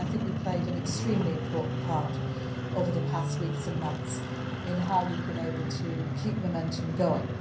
part. I think we have played an extremely important part over the past weeks and months in how we have been able to keep momentum